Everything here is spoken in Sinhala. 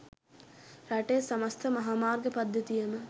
රටේ සමස්ත මහාමාර්ග පද්ධතියම